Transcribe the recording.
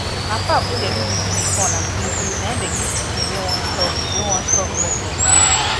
na pap wey dey do with guinea corn and kulikuli na im dey give pikin wey won stop wey won stop breast for village